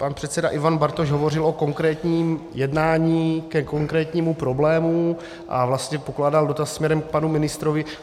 Pan předseda Ivan Bartoš hovořil o konkrétním jednání ke konkrétnímu problému a vlastně pokládal dotaz směrem k panu ministrovi.